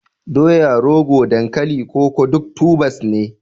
doya, rogo, dankalin koko duk tubers ne